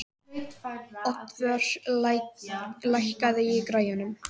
Oddvör, lækkaðu í græjunum.